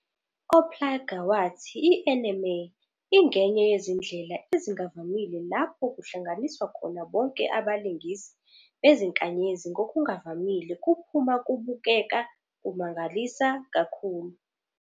Oppliger wathi i-anime ingenye yezindlela ezingavamile lapho kuhlanganiswa khona bonke abalingisi bezinkanyezi ngokuvamile kuphuma kubukeka "kumangalisa kakhulu".